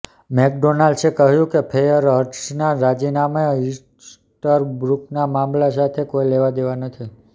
મેકડોનાલ્ડસે કહ્યું કે ફેયરહર્સ્ટના રાજીનામાને ઈસ્ટરબ્રૂકના મામલા સાથે કોઈ લેવા દેવા નથી